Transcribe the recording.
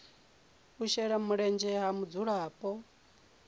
u shela mulenzhe ha mudzulapo